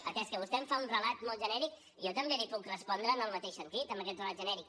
atès que vostè em fa un relat molt genèric jo també li puc respondre en el mateix sentit amb aquest relat genèric